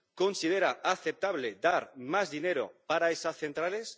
¿Considera aceptable dar más dinero para esas centrales?